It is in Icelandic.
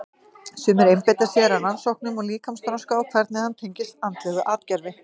Sumir einbeita sér að rannsóknum á líkamsþroska og hvernig hann tengist andlegu atgervi.